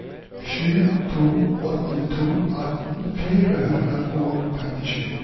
sju to åtte to atten fire hundre og femtisju